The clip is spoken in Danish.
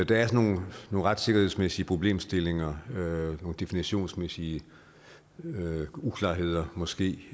der er nogle retssikkerhedsmæssige problemstillinger nogle definitionsmæssige uklarheder måske